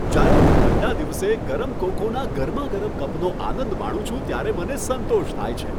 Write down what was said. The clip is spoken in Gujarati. જ્યારે હું ઠંડા દિવસે ગરમ કોકોના ગરમાગરમ કપનો આનંદ માણું છું ત્યારે મને સંતોષ થાય છે.